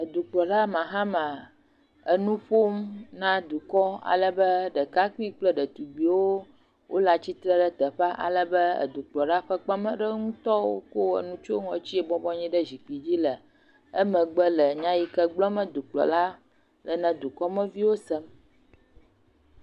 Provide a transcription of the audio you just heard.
Edukplɔla Mahama enu ƒom na dukɔ. Alebe ɖekakpui kple ɖetugbiwo wole atsitre ɖe teƒea. Alebe Dukplɔla ƒe kpemeɖeŋutɔwo kɔ nu etsyɔ ŋɔtsie ebɔbɔ nɔ anyi zikpi le emegbe le nya yi ke gblɔm dukplɔla le na dukɔmeviwo sem.